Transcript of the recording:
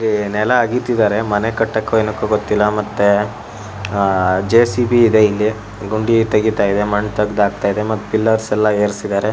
ಏ ನೆಲ ಆಗ್ದಿತ್ತಿದರೆ ಮನೆ ಕಟ್ಟೋಕ್ಕೋ ಏನೋ ಗೊತ್ತಿಲ ಮತ್ತೆ ಅಅ ಜೆ.ಸಿ.ಬಿ ಇದೆ ಇಲ್ಲಿ ಗುಂಡಿ ತೆಗಿತಾಯಿದೆ ಮಣ್ ತೆಗದ್ ಆಕ್ತಯಿದೆ ಮತ್ ಪಿಲ್ಲೋರ್ಸ್ ಎಲ್ಲ ಏರ್ಸಿದಾರೆ.